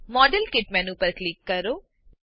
model kit menu પર click કરો